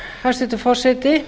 hæstvirtur forseti